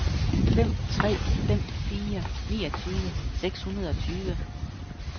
fem tre fem fire niogtyve seks hundrede og tyve